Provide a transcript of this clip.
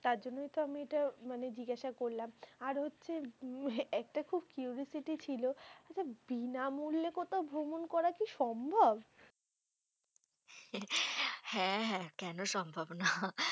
তারজন্যই আমি এটা মানে জিজ্ঞাসা করলাম। আর হচ্ছে, একটা খুব quiriosity ছিল, আচ্ছা বিনামূল্যে কোথাও ভ্রমণ করা কি সম্ভব? হ্যাঁ কেন সম্ভব না।